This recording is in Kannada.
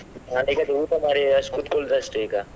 ನಾನು ಈಗ ಅದೇ ಊಟ ಮಾಡಿ ಅಷ್~ ಕುತ್ಕೊಳ್ಳುದು ಅಷ್ಟೇ ಈಗ.